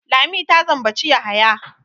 Lami ta zambaci Yahaya.